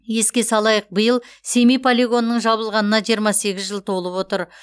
еске салайық биыл семей полигонының жабылғанына жиырма сегіз жыл толып отыр